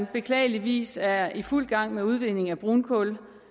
beklageligvis er i fuld gang med udvinding af brunkul